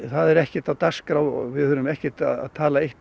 það er ekkert á dagskrá við erum ekkert að tala